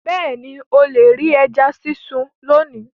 Bẹ́ẹ̀ni, o le ri ẹja sisun loni